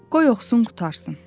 Qoy oxusun qurtarsın.